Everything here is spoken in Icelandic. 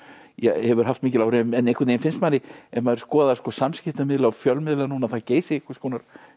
hefur haft mikil áhrif en einhvern veginn finnst manni ef maður skoðar samskiptamiðla og fjölmiðla núna að það Geysi einhvers konar